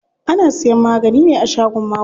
Ana siyan magani ne a shagon maguna.